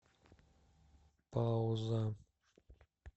пауза